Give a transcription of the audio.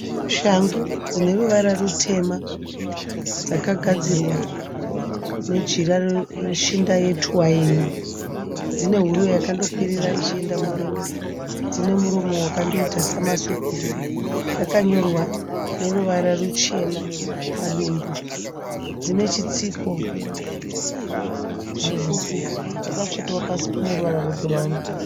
Shangu dzine ruvara rutema. Dzakagadzirwa nejira reshinda yetwaini. Dzine huro yandokwirira ichienda mudenga. Dzine muromo wakandoita samasokisi. Dzakanyorwa neruvara ruchena padumbu. Dzine chitsiko chipfupi. Dzakatsvetwa pasi pane ruva rebhurauni.